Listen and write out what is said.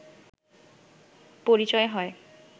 পরিচয় হয়